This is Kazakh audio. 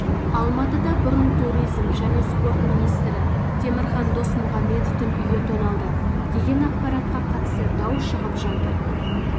алматыда бұрынғы туризм және спорт министрі темірхан досмұхамбетовтің үйі тоналды деген ақпаратқа қатысты дау шығып жатыр